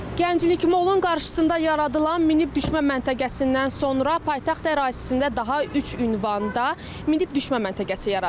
Gənclik Mollun qarşısında yaradılan minib düşmə məntəqəsindən sonra paytaxt ərazisində daha üç ünvanda minib düşmə məntəqəsi yaradılıb.